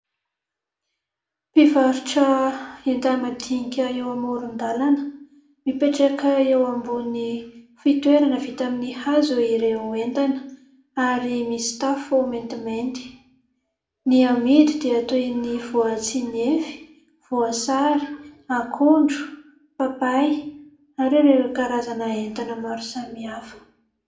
Mpivarotra enta-madinika mipetraka eo amoron-dalana, mipetraka eo ambonin'ny fitoerana vita amin'ny hazo ireo entana ary misy tafo maintimainty. Ny amidy dia toy ny voatsinefy, voasary, akondro, papay ary ireo karazana entana maro samihafa.